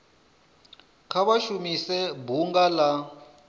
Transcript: kha vha shumise bunga la